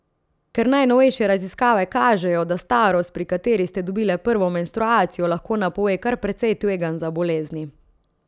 Ker najnovejše raziskave kažejo, da starost, pri kateri ste dobile prvo menstruacijo, lahko napove kar precej tveganj za bolezni.